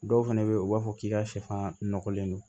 Dɔw fɛnɛ be ye u b'a fɔ k'i ka sɛfan nɔgɔlen don